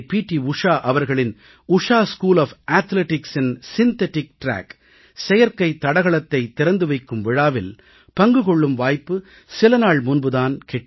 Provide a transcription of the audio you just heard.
உஷா அவர்களின் உஷா தடகள பள்ளியில் செயற்கைத் ஓடுதளத்தைத் திறந்து வைக்கும் விழாவில் பங்கு கொள்ளும் வாய்ப்பு சிலநாள் முன்பு எனக்குக் கிட்டியது